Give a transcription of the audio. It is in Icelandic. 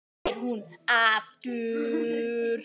spyr hún aftur.